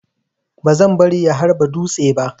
Bazan bari ya harba dutse ba.